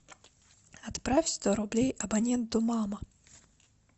отправь сто рублей абоненту мама